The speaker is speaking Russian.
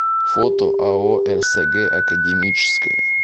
фото ао рсг академическое